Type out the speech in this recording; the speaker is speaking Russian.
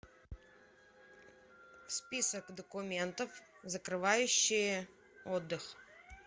список документов закрывающие отдых